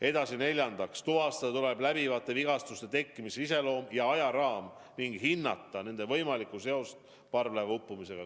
Edasi, neljandaks, tuvastada tuleb läbivate vigastuste tekkimise iseloom ja ajaraam ning hinnata nende võimalikku seost parvlaeva uppumisega.